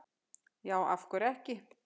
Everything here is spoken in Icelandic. já af hverju ekki